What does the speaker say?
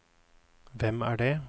hvem er det